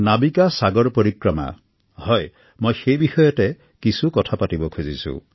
নাৱিকা সাগৰ পৰিক্ৰমা হয় মই সেই বিষয়তে কিছু কথা পাতিব বিচাৰিছো